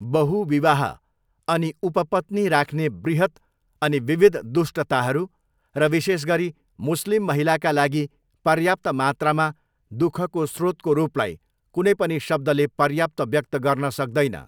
बहुविवाह अनि उपपत्नी राख्ने बृहत अनि विविध दुष्टताहरू र विशेषगरी मुस्लिम महिलाका लागि पर्याप्त मात्रामा दुःखको स्रोतको रूपलाई कुनै पनि शब्दले पर्याप्त व्यक्त गर्न सक्दैन।